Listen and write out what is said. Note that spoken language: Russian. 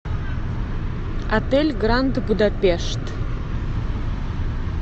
отель гранд будапешт